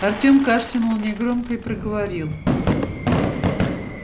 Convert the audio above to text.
артем кашлянул негромко и проговорил